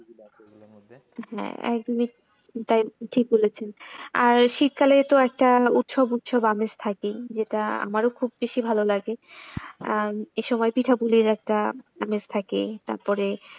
হ্যাঁ একদমই তাই ঠিক বলেছেন আর শীতকালে তো একটা উৎসব উৎসব আমেজ থাকেই যেটা আমারও খুব বেশি ভালো লাগে আর এ সময় পিঠাপুলির একটা আমেজ থাকে তারপরে,